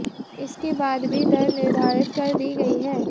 इसके बाद भी दर निर्धारित कर दी गई है